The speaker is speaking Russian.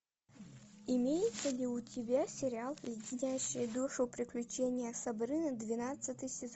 имеется ли у тебя сериал леденящие душу приключения сабрины двенадцатый сезон